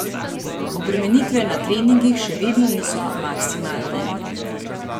Obremenitve na treningih še vedno niso maksimalne.